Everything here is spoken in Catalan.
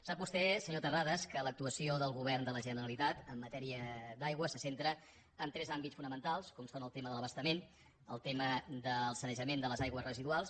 sap vostè senyor terrades que l’actuació del govern de la generalitat en matèria d’aigua se centra en tres àmbits fonamentals com són el tema de l’abastament el tema del sanejament de les aigües residuals